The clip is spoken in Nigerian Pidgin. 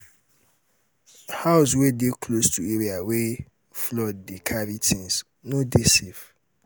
house wey de close to area wey flood dey carry things no dey safe